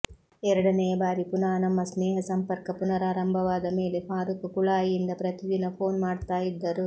ಎರಡನೆಯ ಬಾರಿ ಪುನಃ ನಮ್ಮ ಸ್ನೇಹ ಸಂಪರ್ಕ ಪುನರಾರಂಭವಾದ ಮೇಲೆ ಫಾರೂಕ್ ಕುಳಾಯಿಯಿಂದ ಪ್ರತಿದಿನ ಫೋನ್ ಮಾಡ್ತಾ ಇದ್ದರು